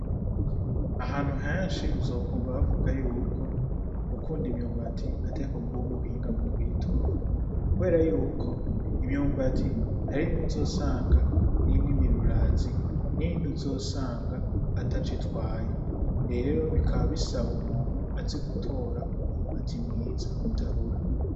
Ahantu henshi uzokumva bavuga yuko gukunda imyumbati atariko kuba umuhinga mu kuyitora, kubera yuko imyumbati hari imwe uzosanga irimwo ibirurazi n'iyindi uzosanga ataco itwaye, rero bikaba bisaba umuntu azi gutora umwumbati mwiza utarura.